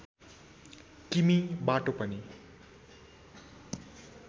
किमि बाटो पनि